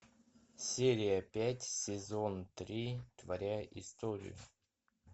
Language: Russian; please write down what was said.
серия пять сезон три творя историю